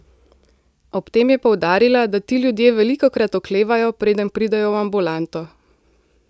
Ob tem je poudarila, da ti ljudje velikokrat oklevajo, preden pridejo v ambulanto.